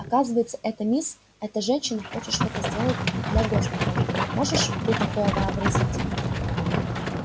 оказывается эта мисс эта женщина хочет что-то сделать для госпиталя можешь ты такое вообразить